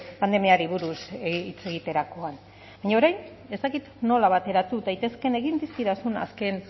pandemiari buruz hitz egiterakoan baina orain ez dakit nola bateratu daitezkeen egin dizkidazun azken